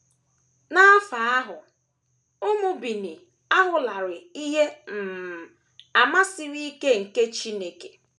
N’afọ ahụ, ụmụ Benin ahụlarị ihe um àmà siri ike nke ike Chineke.